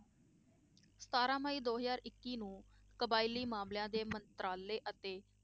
ਸਤਾਰਾਂ ਮਈ ਦੋ ਹਜ਼ਾਰ ਇੱਕੀ ਨੂੰ ਕਬਾਇਲੀ ਮਾਮਲਿਆਂ ਦੇ ਮੰਤਰਾਲੇ ਅਤੇ